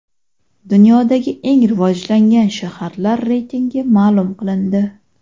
Dunyodagi eng rivojlangan shaharlar reytingi ma’lum qilindi.